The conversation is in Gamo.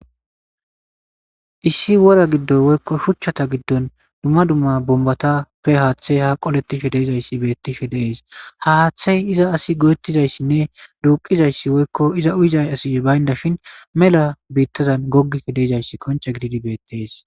issi wora giddoy woykko shuchchata giddon dumma dumma bombatappe haaththey ha qolettishe deezayssi beettishe deees ha haaththey iza asi godettizayssinne duuqizayssi woykko iza uyizay asi baynda shin mela biittazan gogik deezayssi konce gididi beettees